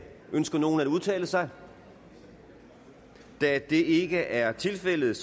ønsker nogen at udtale sig da det ikke er tilfældet